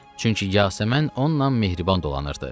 Çünki Yasəmən onunla mehriban dolanırdı.